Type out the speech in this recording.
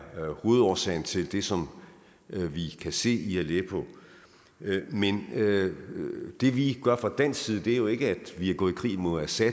hovedårsagen til det som vi kan se i aleppo men det vi gør fra dansk side er jo ikke at vi er gået i krig mod assad